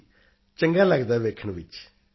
ਜੀ ਚੰਗਾ ਲਗਦਾ ਹੈ ਦੇਖਣ ਵਿੱਚ